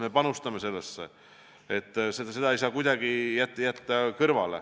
Me panustame nendesse teemadesse, neid ei saa kuidagi kõrvale jätta.